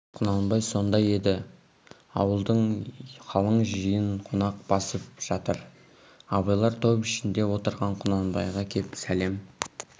құнанбай сонда еді ауылды қалың жиын қонақ басып жатыр абайлар топ ішінде отырған құнанбайға кеп сәлем